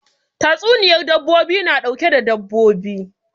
Tatsuniyan dabbobi na ɗauke da dabbobi